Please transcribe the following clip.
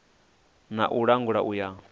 na u langula u ya